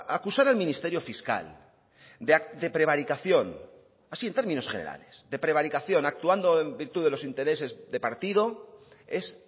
acusar al ministerio fiscal de prevaricación así en términos generales de prevaricación actuando en virtud de los intereses de partido es